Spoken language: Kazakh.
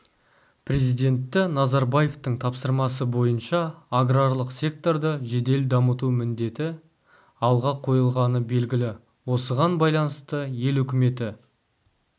президенті назарбаевтың тапсырмасы бойынша аграрлық секторды жедел дамыту міндеті алға қойылғаны белгілі осыған байланысты ел үкіметі